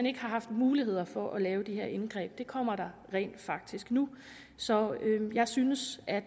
ikke har haft muligheder for at lave det her indgreb men det kommer der rent faktisk nu så jeg synes at